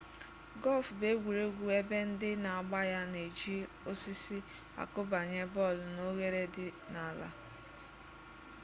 gọlf bụ egwuregwu ebe ndị na-agba ya na-eji osisi akụbanye bọọlụ n'oghere dị n'ala